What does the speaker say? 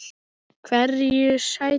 Hverju sætir?